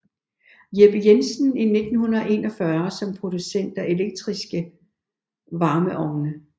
Jeppe Jensen i 1941 som producent af elektriske varmeovne